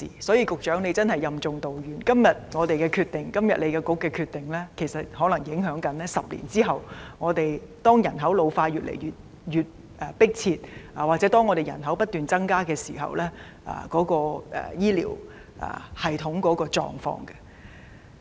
所以，局長真的任重道遠，因為政府和局長今天所作決定，可能影響10年後，當香港人口老化問題越來越迫切及人口不斷增加時的醫療系統的狀況。